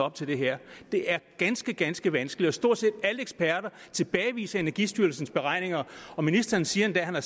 af til det her det er ganske ganske vanskeligt og stort set alle eksperter tilbageviser energistyrelsens beregninger ministeren siger endda han har